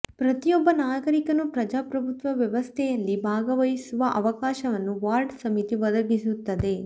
ಪ್ರತಿಯೊಬ್ಬ ನಾಗರಿಕನೂ ಪ್ರಜಾಪ್ರಭುತ್ವ ವ್ಯವಸ್ಥೆಯಲ್ಲಿ ಭಾಗವಹಿಸುವ ಅವಕಾಶವನ್ನು ವಾರ್ಡ್ ಸಮಿತಿ ಒದಗಿಸುತ್ತದೆ